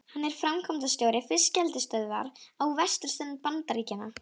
Hann er framkvæmdastjóri fiskeldisstöðvar á vesturströnd Bandaríkjanna.